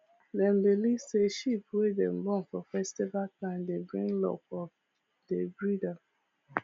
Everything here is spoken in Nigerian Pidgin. dem believe say sheep wey dem born for festival time dey bring luck of dey breed am